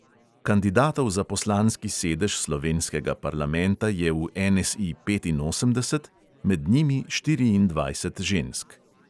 Kandidatov za poslanski sedež slovenskega parlamenta je v NSI petinosemdeset, med njimi štiriindvajset žensk.